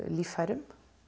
líffærum